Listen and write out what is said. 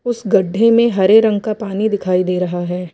उस गढ्ढे में हरे रंग का पानी दिखाई दे रहा है।